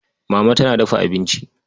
Mama tana dafa abinci.